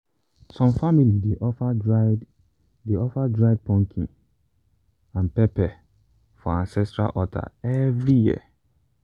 some family dey offer dried dey offer dried pumpkin and pepper for ancestral altar every year.